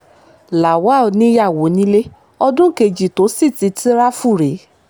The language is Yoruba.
lawal níyàwó nílé ọdún kejì tó sì ti tirafu rèé